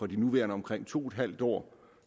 de nuværende omkring to en halv år